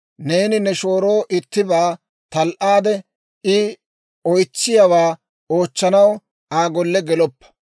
«Neeni ne shooroo ittibaa tal"aade, I oytsiyaawaa oochchanaw Aa golle geloppa.